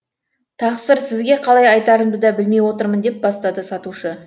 тақсыр сізге қалай айтарымды да білмей отырмын деп бастады сатушы